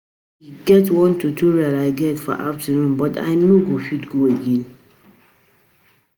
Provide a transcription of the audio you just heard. E get one tutorial I get for afternoon but I no go fit go again